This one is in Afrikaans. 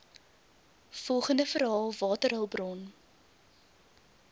volgende verhaal waterhulpbron